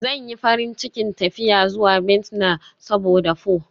Zan yi farin cikin tafiya zuwa Vietnam saboda pho.